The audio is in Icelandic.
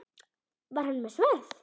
Var hann með sverð?